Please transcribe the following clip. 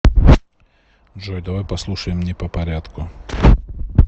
джой давай послушаем не попорядку